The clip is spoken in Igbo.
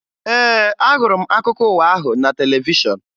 Ee, ahụrụ m akụkọ ụwa ahụ na televishọn